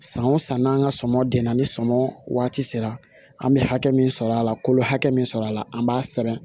San o san n'an ka sɔmɔ gɛn na ni sɔmɔ waati sera an bɛ hakɛ min sɔrɔ a la kolo hakɛ min sɔrɔ a la an b'a sɛbɛn